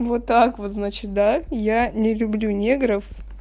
вот так вот значит да я не люблю негров